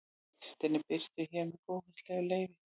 Textinn er birtur hér með góðfúslegu leyfi.